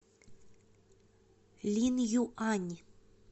линъюань